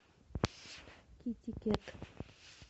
китикет